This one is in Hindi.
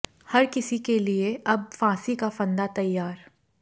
हर किसी के लिए अब फांसी का फंदा तैयार